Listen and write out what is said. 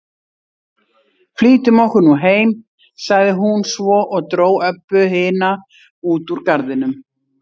Flýtum okkur nú heim, sagði hún svo og dró Öbbu hina út úr garðinum.